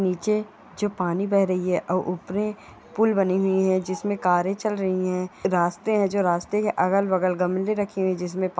निचे जो पानी बह रही ऊपरे पुल बनी हुई है जिसमें कारे चल रही है रास्ते हैं जो रास्ते के अलग बगल गमले रखे हुए जिसमे --